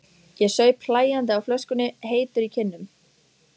Ég saup hlæjandi á flöskunni, heitur í kinnum.